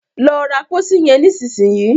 Lọ ra pósí yen nísìsiyìí!